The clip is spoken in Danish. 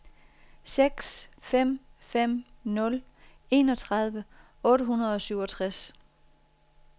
seks fem fem nul enogtredive otte hundrede og syvogtres